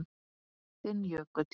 Þinn Jökull.